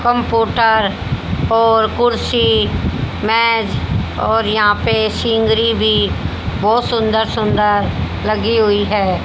Computer और कुर्सी मेज और यहां पे सीनरी भी बहुत सुंदर सुंदर लगी हुई है।